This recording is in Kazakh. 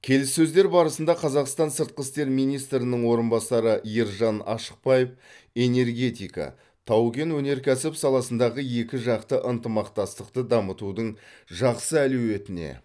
келіссөздер барысында қазақстан сыртқы істер министрінің орынбасары ержан ашықбаев энергетика тау кен өнеркәсібі саласындағы екіжақты ынтымақтастықты дамытудың жақсы әлеуетіне